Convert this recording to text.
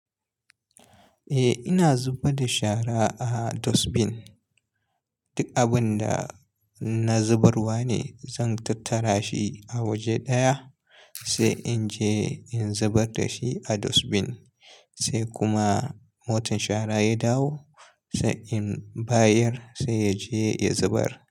Eh ina zubar da shara a dustbin. Duk abun da na zubarwa ne, zan tattara shi a waje ɗaya sai in je in zubar da shi a dustbin, sai kuma motan shara ya dawo sai in bayar sai ya je ya zubar.